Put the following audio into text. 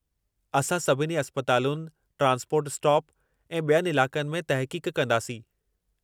असां सभिनी अस्पतालुनि, ट्रांसपोर्ट स्टाप, ऐं ॿियनि इलाक़नि में तहक़ीक़ कंदासीं।